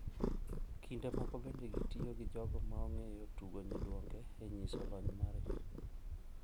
Kinde moko bende gitiyo gi jogo ma ong`eyo tugo nyiduonge e nyiso lony margi.